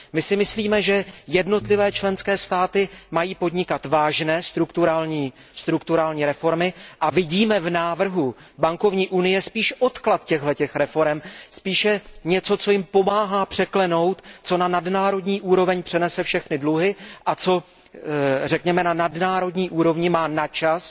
My si myslíme, že jednotlivé členské státy mají podnikat vážné strukturální reformy, a vidíme v návrhu bankovní unie spíš odklad těchto reforem, vidíme v něm spíše něco, co státům pomáhá je překlenout, co na nadnárodní úroveň přenese všechny dluhy a co, řekněme, na nadnárodní úrovni má na čas